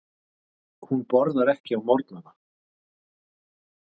Hún borðar ekki á morgnana.